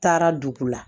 Taara dugu la